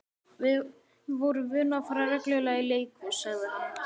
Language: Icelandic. Við vorum vön að fara reglulega í leikhús, sagði hann.